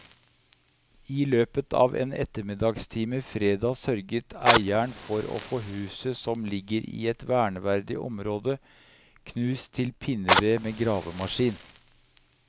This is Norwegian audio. I løpet av en ettermiddagstime fredag sørget eieren for å få huset som ligger i et verneverdig område, knust til pinneved med gravemaskin.